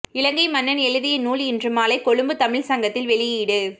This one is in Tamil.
இலங்கை மன்னன் எழுதிய நூல் இன்று மாலை கொழும்பு தமிழ்ச் சங்கத்தில் வெளியீடு